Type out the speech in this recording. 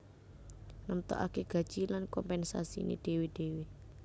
Nemtokake gaji lan kompensasiné dhéwé dhéwé